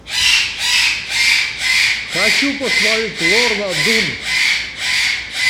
хочу посмотреть лорна дун